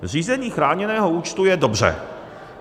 Zřízení chráněného účtu je dobře.